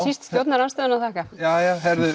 síst stjórnarandstöðunni að þakka jæja